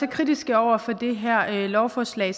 kritiske over for det her lovforslag